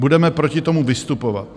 Budeme proti tomu vystupovat.